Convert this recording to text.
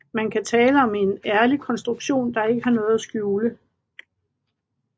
Man kan tale om en ærlig konstruktion der ikke har noget at skjule